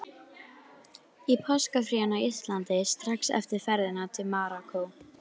Að hundraðasta árinu fylltu yrðu þáttaskil.